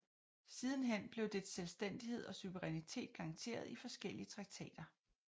Sidenhen blev dets selvstændighed og suverænitet garanteret i forskellige traktater